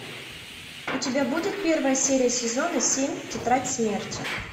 у тебя будет первая серия сезона семь тетрадь смерти